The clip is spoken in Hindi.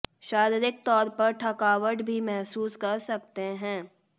शारीरिक तौर पर थकावट भी महसूस कर सकते हैं